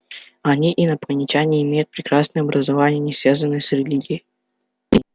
они инопланетяне и имеют прекрасное образование не связанное с религией